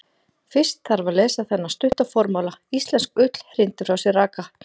Fyrst þarf að lesa þennan stutta formála: Íslensk ull hrindir frá sér raka.